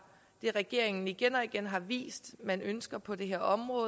det regeringen igen og igen har vist at man ønsker på det her område